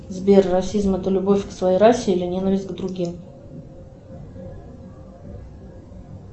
сбер расизм это любовь к своей расе или ненависть к другим